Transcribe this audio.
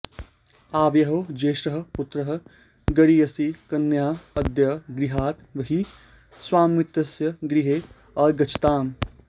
आवयोः ज्येष्ठः पुत्रः गरीयसी कन्या अद्य गृहात् बहिः स्वमित्रस्य गृहे अगच्छताम्